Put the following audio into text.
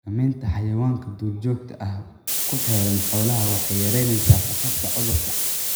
Xakamaynta xayawaanka duurjoogta ah ee ku xeeran xoolaha waxay yaraynaysaa khatarta cudurku.